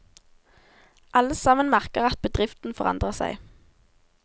Alle sammen merker at bedriften forandrer seg.